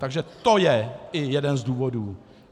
Takže to je i jeden z důvodů.